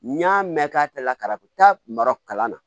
N y'a mɛn k'a tɛ lakara mara kalan na